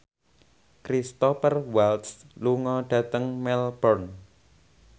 Cristhoper Waltz lunga dhateng Melbourne